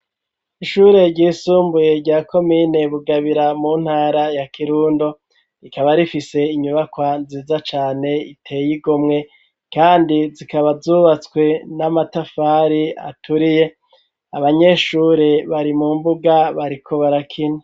ishure ryisumbuye rya komine Bugabira mu ntara ya Kirundo, rikaba rifise inyubakwa nziza cane iteye igomwe kandi zikaba zubatswe n'amatafari aturiye, abanyeshure bari mu mbuga barikubarakina.